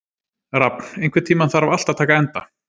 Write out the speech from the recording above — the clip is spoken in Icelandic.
Rafn, einhvern tímann þarf allt að taka enda.